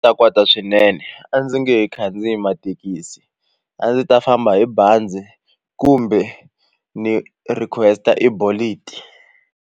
Ta kwata swinene a ndzi nge he khandziyi mathekisi a ndzi ta famba hi bazi kumbe ni request-a Bolt.